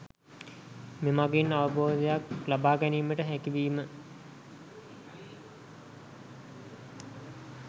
මෙමගින් අවබෝධයක් ලබාගැනීමට හැකිවීම